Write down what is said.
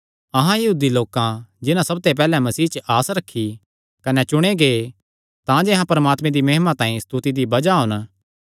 अहां यहूदी लोकां जिन्हां सबते पैहल्लैं मसीह च आस रखी कने चुणे गै तांजे अहां परमात्मे दी महिमा तांई स्तुति दी बज़ाह होन